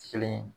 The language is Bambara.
Kelen ye